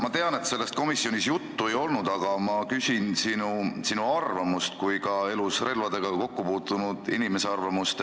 Ma tean, et sellest komisjonis juttu ei olnud, aga ma küsin sinu kui elus relvadega kokku puutunud inimese arvamust.